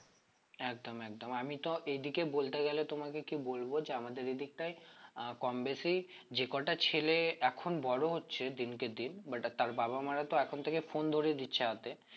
একদম একদম আমি তো এদিকে বলতে গেলে তোমাকে কি বলবো যে আমাদের এই দিকটায় আহ কম বেশি যে কটা ছেলে এখন বড়ো হচ্ছে দিন কে দিন but তার বাবা মারা তো এখন থেকেই phone ধরিয়ে দিচ্ছে হাতে